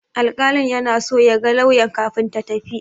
Alƙalin yana so ya ga lauyan kafin ta tafi.